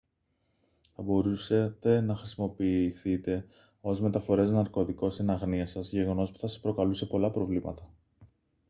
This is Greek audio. θα μπορούσατε να χρησιμοποιηθείτε ως μεταφορέας ναρκωτικών εν αγνοία σας γεγονός που θα σας προκαλούσε πολλά προβλήματα